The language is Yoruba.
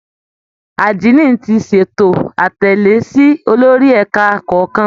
Àdínì ti ṣètò àtẹ̀lé sí olórí ẹ̀ka kọ̀ọ̀kan